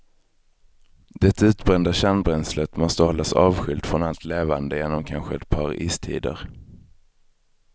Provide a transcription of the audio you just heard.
Det utbrända kärnbränslet måste hållas avskilt från allt levande genom kanske ett par istider.